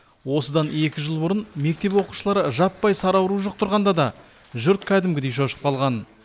осыдан екі жыл бұрын мектеп оқушылары жаппай сары ауру жұқтырғанда да жұрт кәдімгідей шошып қалған